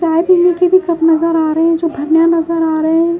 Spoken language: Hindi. चाय पीने की भी कप नज़र आ रहे हैं जो नजर आ रहे हैं।